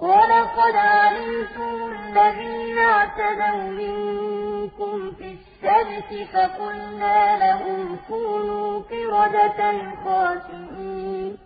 وَلَقَدْ عَلِمْتُمُ الَّذِينَ اعْتَدَوْا مِنكُمْ فِي السَّبْتِ فَقُلْنَا لَهُمْ كُونُوا قِرَدَةً خَاسِئِينَ